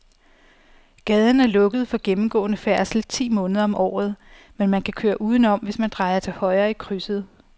Gaden er lukket for gennemgående færdsel ti måneder om året, men man kan køre udenom, hvis man drejer til højre i krydset.